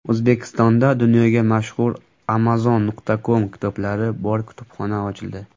O‘zbekistonda dunyoga mashhur Amazon.com kitoblari bor kutubxona ochildi.